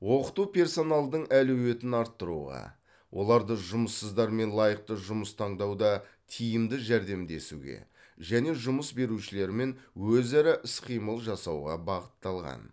оқыту персоналдың әлеуетін арттыруға оларды жұмыссыздармен лайықты жұмыс таңдауда тиімді жәрдемдесуге және жұмыс берушілермен өзара іс қимыл жасауға бағытталған